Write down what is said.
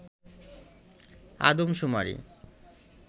আদম শুমারি